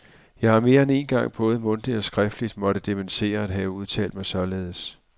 Jeg har mere end én gang både mundtligt og skriftligt måtte dementere at have udtalt mig således.